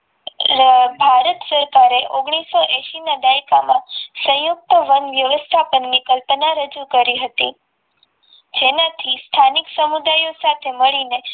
ભારત સરકારે ઓગનીશો એશી ના દાયકામાં સંયુક્ત વન વ્યવસ્થાપન કલ્પના રજુ કરી હતી જેનાથી સ્થાનિક સમુદાયો સાથે મળીને